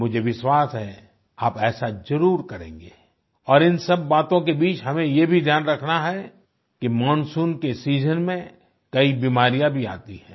मुझे विश्वास है आप ऐसा जरुर करेंगे और इन सब बातों के बीच हमें ये भी ध्यान रखना है कि मानसून के सीजन में कई बीमारियाँ भी आती हैं